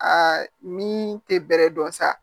Aa min tɛ bɛrɛ dɔn sa